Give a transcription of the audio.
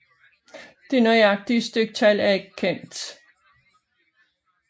Det nøjagtige styktal er ikke kendt